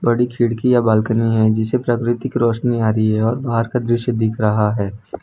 बड़ी खिड़कि या बालकनी है जिसे प्राकृतिक रोशनी आ रही है और बाहर का दृश्य दिख रहा है।